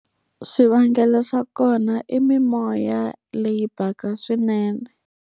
Swivangelo swa kona i mimoya leyi baka swinene.